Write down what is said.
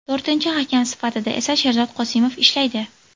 To‘rtinchi hakam sifatida esa Sherzod Qosimov ishlaydi.